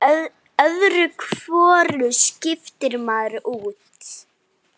Öðru hvoru skiptir maður út.